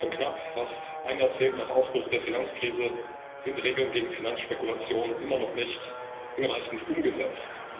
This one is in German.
Kurz und knapp Fast ein Jahrzehnt nach Ausbruch der Finanzkrise sind die Regeln gegen Finanzspekulation immer noch nicht hinreichend umgesetzt.